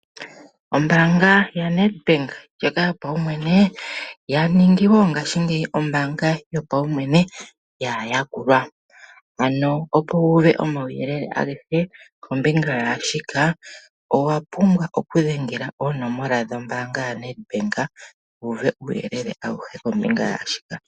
Ombaanga yaNEDBANK ndjoka yopaumwene, yaningi wo ngashingeyi ombaanga yopaumwene yaayakulwa. Ano opo umone omauyelele agehe kombinga yaashika, owa pumbwa okudhengela oonomola dhombaanga yaNEDBANK umone uuyelele auhe.